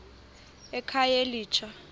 ekhayelitsha